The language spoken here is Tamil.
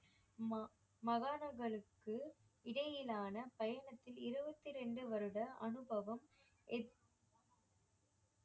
ம~ மகானர்களுக்கு இடையிலான பயணத்தில் இருவத்தி ரெண்டு வருட அனுபவம்